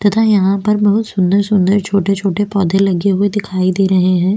तथा यहाँ पर बहुत सुंदर सुंदर छोटे-छोटे पौधे लगे हुए दिखाई दे रहे है।